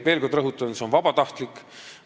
Veel kord rõhutan, et see on vabatahtlik.